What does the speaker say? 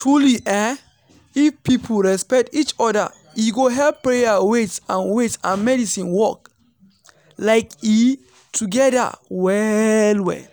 truely eeh if people respect each oda e go help prayer wait and wait and medicine work like eeh togeda well well.